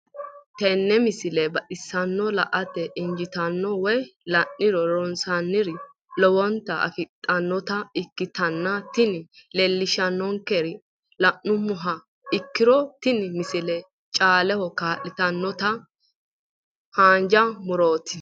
tenne misile baxisannonna la"ate injiitanno woy la'ne ronsannire lowote afidhinota ikkitanna tini leellishshannonkeri la'nummoha ikkiro tini misile caaleho kaa'litannonkete haanja murooti.